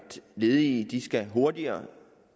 ledige skal hurtigere